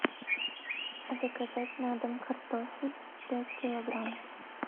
заказать на дом картофель пять килограмм